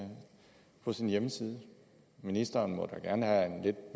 på sin hjemmeside ministeren må da gerne have en lidt